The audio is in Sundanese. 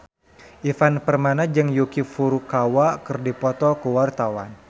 Ivan Permana jeung Yuki Furukawa keur dipoto ku wartawan